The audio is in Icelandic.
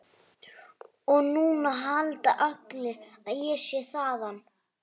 Sem neyðist til að grípa og fleygir honum til Vésteins.